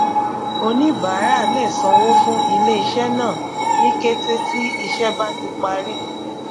oníbàárà lè sanwó fún iléiṣẹ náà ní kété tí ìṣe bá ti parí